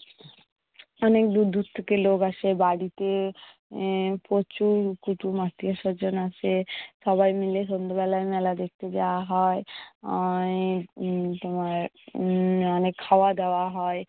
অনেক দূর দূর থেকে লোক আসে। বাড়িতে আহ প্রচুর কুটুম্ব আত্মীয়স্বজন আসে। সবাই মিলে সন্ধ্যেবেলায় মেলা দেখতে যাওয়া হয়। অয় তোমার উম অনেক খাওয়াদাওয়া হয়।